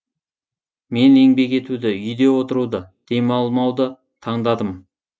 мен еңбек етуді үйде отыруды демалмауды таңдадым